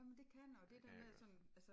Jamen det kan det og der med at sådan altså